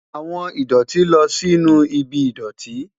Awọn idoti lọ sinu ibi idọti